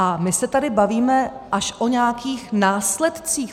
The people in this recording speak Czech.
A my se tady bavíme až o nějakých následcích.